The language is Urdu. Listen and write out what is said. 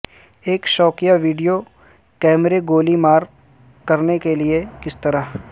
ایک شوکیا ویڈیو کیمرے گولی مار کرنے کے لئے کس طرح